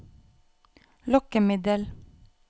lokkemiddel